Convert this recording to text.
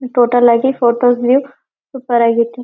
Total ಆಗಿ four thousand eight four ಆಗ್ಯತಿ.